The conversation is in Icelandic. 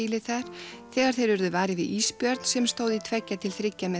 þar þegar þeir urðu varir við ísbjörn sem stóð í tvo til þrjá metra